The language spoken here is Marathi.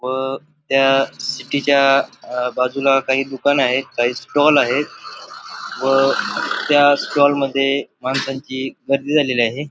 व त्या सिटी च्या बाजूला काही दुकान आहेत काही स्टॉल आहे व त्या स्टॉल मध्ये माणसांची बदली झालेली आहे.